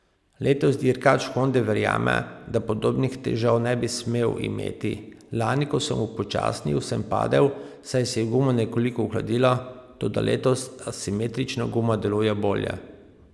Letos dirkač Honde verjame, da podobnih težav ne bi smel imeti: 'Lani, ko sem upočasnil, sem padel, saj se je guma nekoliko ohladila, toda letos asimetrična guma deluje bolje.